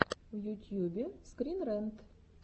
в ютьюбе скрин рэнт